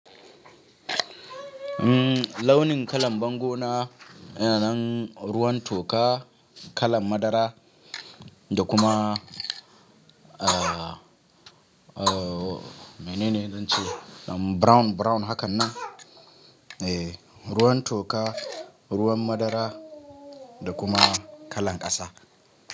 Launin kalan bango na yana nan ruwan toka, kalan madara da kuma, mene ne zan ce, brown brown hakan nan. Eh, ruwan toka, ruwan madara da kuma kalan ƙasa.